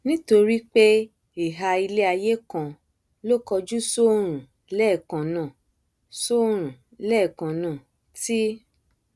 nítorí pé ihà iléaiyé kan ló kojú sóòrùn lẹẹkannáà sóòrùn lẹẹkannáà tí